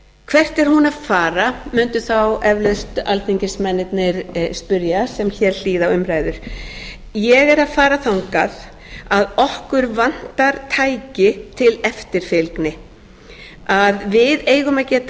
hvert er hún að fara mundu þá eflaust alþingismennirnir spyrja sem hér hlýða á umræður ég er að fara þangað að okkur vantar tæki til eftirfylgni að við eigum að